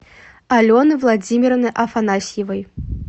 алены владимировны афанасьевой